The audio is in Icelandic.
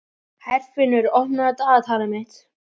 Herfinnur, opnaðu dagatalið mitt.